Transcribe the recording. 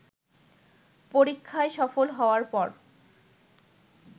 পরীক্ষায় সফল হওয়ার পর